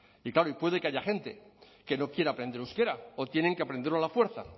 y claro y puede que haya gente que no quiera aprender euskera o tienen que aprenderlo a la fuerza